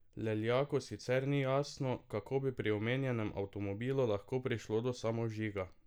Leljaku sicer ni jasno, kako bi pri omenjenem avtomobilu lahko prišlo do samovžiga.